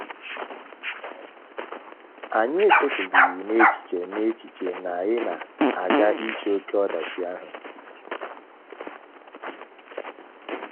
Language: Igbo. Anyị echetụdịghị n’echiche na n’echiche na anyị na - aga iche oké ọdachi ihu.